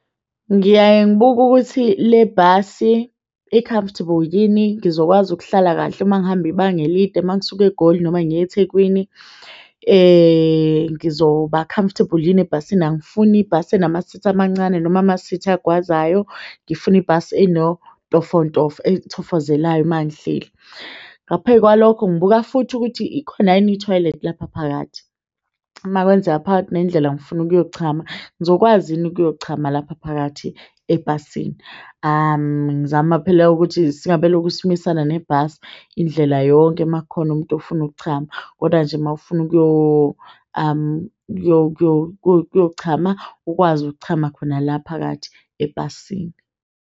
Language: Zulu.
Ngiyaye ngibuke ukuthi le bhasi i-comfortable yini, ngizokwazi ukuhlala kahle ma ngihamba ibanga elide uma ngisuka eGoli noma ngiyeThekwini ngizoba comfortable yini ebhasini? Angifuni ibhasi enamasithi amancane noma amasithi agwazayo. Ngifuna ibhasi enontofontofo ethofozelayo uma ngihleli. Ngapheyikwalokho, ngibuka futhi ukuthi likhona yini ithoyilethi lapha phakathi. Uma kwenzeka phakathi nendlela ngifuna ukuyochama ngizokwazi yini ukuyochama lapha phakathi ebhasini? Ngizama phela ukuthi singabe lokhu simisana nebhasi indlela yonke ma kukhona umuntu ofuna ukuchama kodwa nje mawufuna ukuyo ukuyochama ukwazi ukuchama khona la phakathi ebhasini.